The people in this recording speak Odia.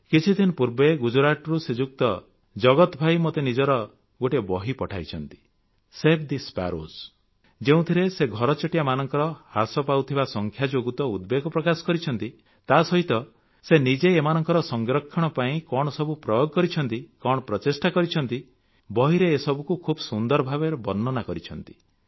କିଛିଦିନ ପୂର୍ବେ ଗୁଜରାତରୁ ଶ୍ରୀଯୁକ୍ତ ଜଗତଭାଇ ମୋତେ ନିଜର ଗୋଟିଏ ବହି ପଠାଇଛନ୍ତି ସେଭ୍ ଥେ ସ୍ପାରୋଜ୍ ଯେଉଁଥିରେ ସେ ଘରଚଟିଆମାନଙ୍କ ହ୍ରାସ ପାଉଥିବା ସଂଖ୍ୟା ଯୋଗୁଁ ତ ଉଦ୍ବେଗ ପ୍ରକାଶ କରିଛନ୍ତି ତାସହିତ ସେ ନିଜେ ଏମାନଙ୍କ ସଂରକ୍ଷଣ ପାଇଁ କଣ ସବୁ ପ୍ରୟୋଗ କରିଛନ୍ତି କଣ ପ୍ରଚେଷ୍ଟା କରିଛନ୍ତି ବହିରେ ଏସବୁକୁ ଖୁବ୍ ସୁନ୍ଦର ଭାବେ ବର୍ଣ୍ଣନା କରିଛନ୍ତି